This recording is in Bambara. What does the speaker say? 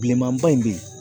Bilenmanba in bɛ yen